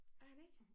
Er han ikke?